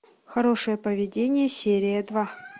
хорошее поведение серия два